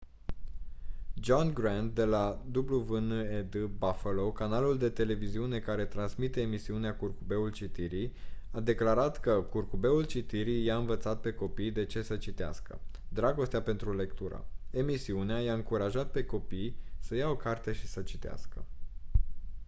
john grant de la wned buffalo canalul de televiziune care transmite emisiunea curcubeul citirii a declarat că «curcubeul citirii i-a învățat pe copii de ce să citească ... dragostea pentru lectură — [emisiunea] i-a încurajat pe copii să ia o carte și să citească»